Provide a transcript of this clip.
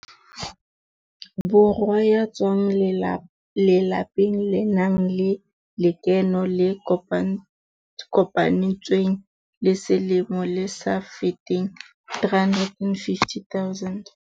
Borwa ya tswang lelapeng le nang le lekeno le kopanetsweng la selemo le sa feteng R350 000.